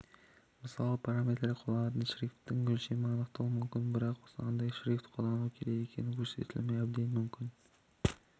мысалы параметрлер қолданылатын шрифтің өлшемін анықтауы мүмкін бірақ қандай шрифт қолдану керек екені көрсетілмеуі әбден мүмкін